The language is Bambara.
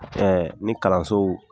ni kalansow